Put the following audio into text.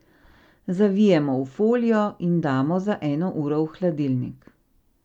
Zavijemo v folijo in damo za eno uro v hladilnik.